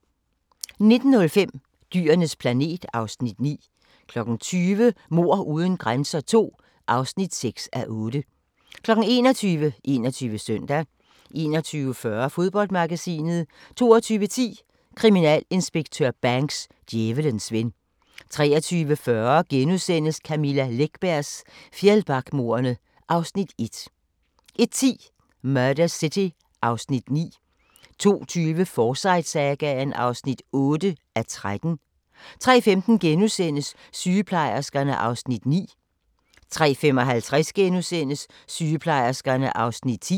19:05: Dyrenes planet (Afs. 9) 20:00: Mord uden grænser II (6:8) 21:00: 21 Søndag 21:40: Fodboldmagasinet 22:10: Kriminalinspektør Banks: Djævelens ven 23:40: Camilla Läckbergs Fjällbackamordene (Afs. 1)* 01:10: Murder City (Afs. 9) 02:20: Forsyte-sagaen (8:13) 03:15: Sygeplejerskerne (Afs. 9)* 03:55: Sygeplejerskerne (Afs. 10)*